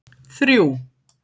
þrjú